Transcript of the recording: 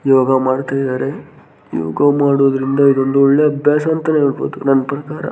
ಯೋಗ ಮಾಡತ್ತಿದರೆ ಯೋಗ ಮಾಡೋದ್ರಿಂದ ಇದೊಂದು ಒಳ್ಳೆ ಅಭ್ಯಾಸ ಅಂತ ಹೇಳಬಹುದು ನಮ್ಮ ಪ್ರಕಾರ .